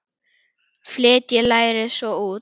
Fletjið lærið svo út.